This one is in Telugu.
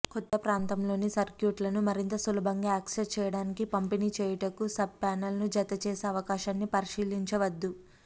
క్రొత్త ప్రాంతములోని సర్క్యూట్లను మరింత సులభంగా యాక్సెస్ చేయటానికి పంపిణీ చేయుటకు సబ్పానెల్ ను జతచేసే అవకాశాన్ని పరిశీలించవద్దు